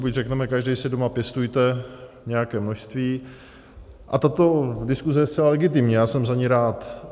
Buď řekneme: každý si doma pěstujte nějaké množství, a tato diskuze je zcela legitimní, já jsem za ni rád.